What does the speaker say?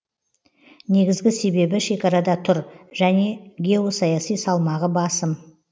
негізгі себебі шекарада тұр және геосаяси салмағы басым